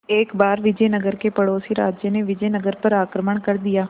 एक बार विजयनगर के पड़ोसी राज्य ने विजयनगर पर आक्रमण कर दिया